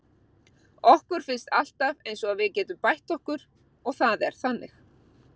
Okkur finnst alltaf eins og við getum bætt okkur og það er þannig.